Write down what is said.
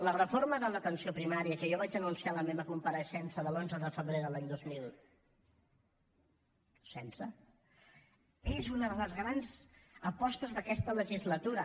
la reforma de l’atenció primària que jo vaig anunciar en la meva compareixença de l’onze de febrer de l’any dos mil setze és una de les grans apostes d’aquesta legislatura